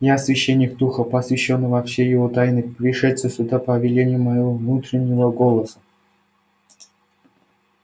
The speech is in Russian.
я священник духа посвящённый во все его тайны пришедший сюда по велению моего внутреннего голоса